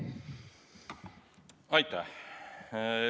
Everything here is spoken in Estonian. Aitäh!